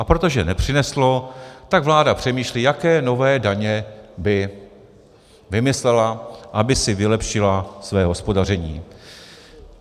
A protože nepřineslo, tak vláda přemýšlí, jaké nové daně by vymyslela, aby si vylepšila své hospodaření.